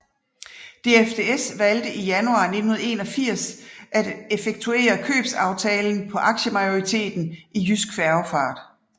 DFDS valgte i januar 1981 at effektuere købsaftalen på aktiemajoritetten i Jydsk Færgefart